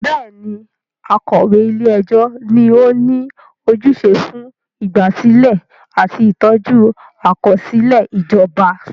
Bẹ́ẹ̀ni, akọ̀wé ilé ẹjọ́ ni ó ní ojúṣe fún ìgbàsílẹ̀ àti ìtọ́jú àkọsílẹ̀ ìjọba.